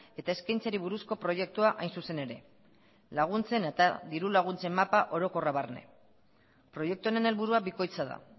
eta eskaintzari buruzko proiektua hain zuzen ere laguntzen eta diru laguntzen mapa orokorra barne proiektu honen helburua bikoitza da